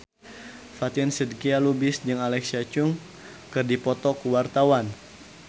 Fatin Shidqia Lubis jeung Alexa Chung keur dipoto ku wartawan